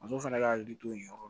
Muso fɛnɛ ka hakili to yen yɔrɔ